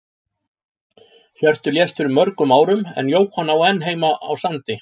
Hjörtur lést fyrir mörgum árum en Jóhanna á enn heima á Sandi.